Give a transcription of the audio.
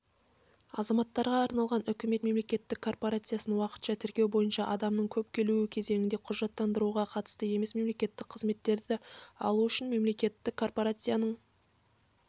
азаматтарға арналған үкімет мемлекеттік корпорациясы уақытша тіркеу бойынша адамның көп келуі кезеңінде құжаттандыруға қатысты емес мемлекеттік қызметтерді алу үшін мемлекеттік корпорацияның